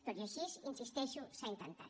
tot i així insisteixo s’ha intentat